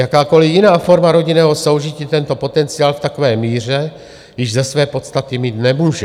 Jakákoliv jiná forma rodinného soužití tento potenciál v takové míře již ze své podstaty mít nemůže.